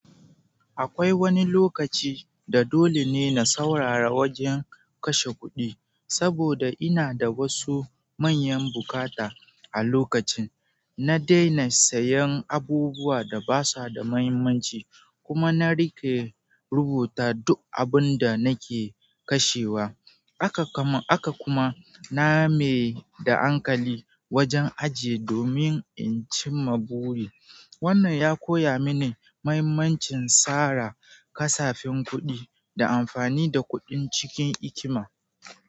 Akwai wani lokaci da dole ne na saurara wajen kashe kuɗi. Saboda ina da wasu manyan bukata a lokacin, na daina sayan abubuwan da ba sa da mahimmanci kuma na riƙe rubuta duk abin da nake kashewa. Haka kuma name da ankali wajen ajiye domin in cimma buri. Wannan ya koya mini mahimmancin tsara kasafin kuɗi da amfani da kuɗin cikin hikima.